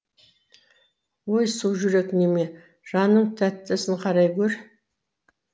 өй сужүрек неме жанының тәттісін қарай гөр